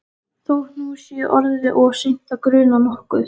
Þótt nú sé orðið of seint að gruna nokkuð.